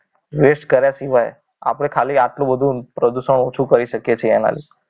Waste કર્યા સિવાય આપણે ખાલી આટલું બધું પ્રદૂષણ ઓછું કરી શકે છે એના લીધે